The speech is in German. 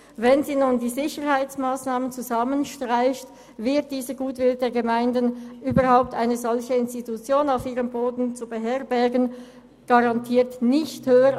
Wenn sie nun die Sicherheitsmassnahmen zusammenstreicht, wird dieser Goodwill, überhaupt eine solche Institution auf ihrem Boden zu beherbergen, garantiert nicht grösser.